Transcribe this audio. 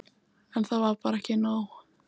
En það var bara ekki nóg.